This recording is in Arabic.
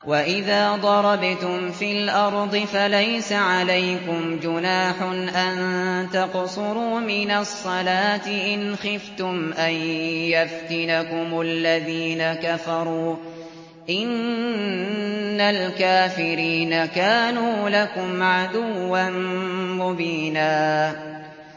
وَإِذَا ضَرَبْتُمْ فِي الْأَرْضِ فَلَيْسَ عَلَيْكُمْ جُنَاحٌ أَن تَقْصُرُوا مِنَ الصَّلَاةِ إِنْ خِفْتُمْ أَن يَفْتِنَكُمُ الَّذِينَ كَفَرُوا ۚ إِنَّ الْكَافِرِينَ كَانُوا لَكُمْ عَدُوًّا مُّبِينًا